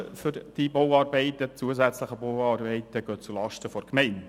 Die Kosten für die zusätzlichen Bauarbeiten gehen zulasten der Gemeinde.